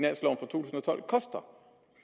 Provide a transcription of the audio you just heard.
det